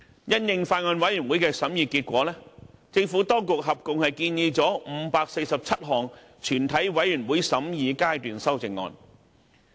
因應法案委員會的審議結果，政府當局合共提出了547項全體委員會審議階段修正案。